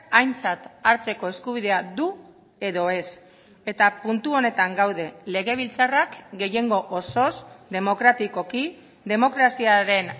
aintzat hartzeko eskubidea du edo ez eta puntu honetan gaude legebiltzarrak gehiengo osoz demokratikoki demokraziaren